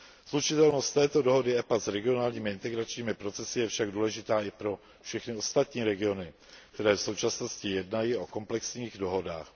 Slučitelnost této dohody EPA s regionálními integračními procesy je však důležitá i pro všechny ostatní regiony, které v současnosti jednají o komplexních dohodách.